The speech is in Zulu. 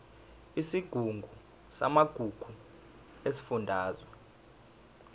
isigungu samagugu sesifundazwe